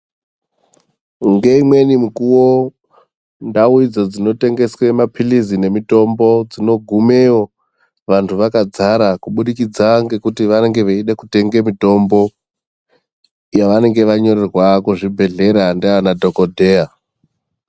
Ngeimweni mikuwo ndau idzo dzinotengeswe mapirizi nemitombo unogumeyo vantu vakadzara kuburikidza ngekuti vanenge veide kutenge mitombo yavanenge vanyorerwa kuzvibhadhlera ndiana dhokodheya.